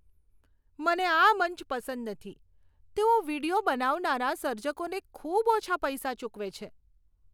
મને આ મંચ પસંદ નથી. તેઓ વીડિયો બનાવનારા સર્જકોને ખૂબ ઓછા પૈસા ચૂકવે છે.